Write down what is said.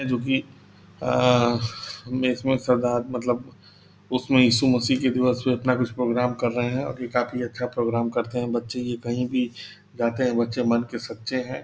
जो कि आ इसमें श्रद्धा मतलब उसमें यीशु मसीह की जो है कुछ प्रोग्राम कर रहे हैं और ये काफी अच्छा प्रोग्राम करते हैं बच्चे ये कही भी जाते है बच्चे मन के सच्चे हैं।